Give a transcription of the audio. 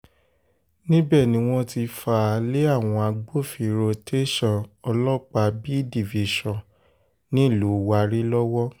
níbẹ̀ ni wọ́n ti fà á lé àwọn agbófinró tẹ̀sán ọlọ́pàá b division nílùú warri lọ́wọ́